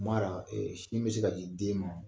la, ee sin be se ka di den ma